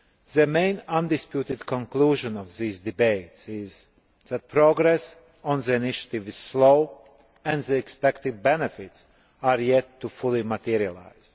The main undisputed conclusion of this debate is that progress on the initiative is slow and the expected benefits are yet to fully materialise.